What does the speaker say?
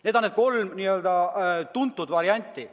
Need on need kolm tuntud varianti.